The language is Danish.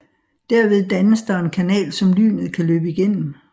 Derved dannes der en kanal som lynet kan løbe igennem